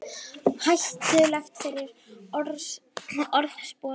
Hættulegt fyrir orðspor okkar